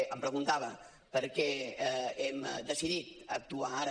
m’ho preguntava per què hem decidit actuar ara